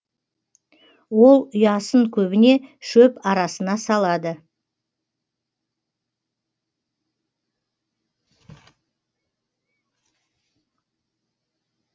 ол ұясын көбіне шөп арасына салады